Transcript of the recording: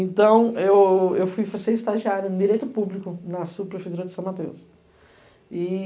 Então, eu eu fui ser estagiária em Direito Público, na subprefeitura de São Mateus. E